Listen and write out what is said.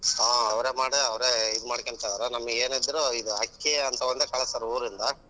ಹ್ಮ್ ಅವ್ರೆ ಮಾಡೆ ಅವ್ರೆ ಇದು ಮಾಡ್ಕೊಂತಾವ್ರೆ ನಮ್ಗೇನಿದ್ರು ಇದು ಅಕ್ಕಿ ಅಂತವೆಲ್ಲಾ ಕಳ್ಸ್ತಾರ ಉರಿಂದಾ.